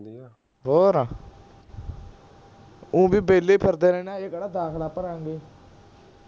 ਹੋਰ ਊਂ ਵੀ ਬੇਹਲੇ ਫਿਰਦੇ ਰਹਿਣੇ ਆ ਅਜੇ ਕੇਹੜਾ ਦਾਖਲਾ ਭਰਾਂਗੇ